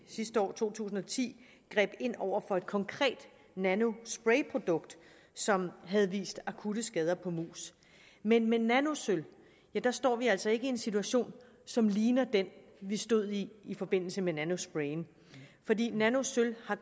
sidste år i to tusind og ti greb ind over for et konkret nanosprayprodukt som havde vist akutte skader på mus men med nanosølv står vi altså ikke i en situation som ligner den vi stod i i forbindelse med nanosprayen fordi nanosølv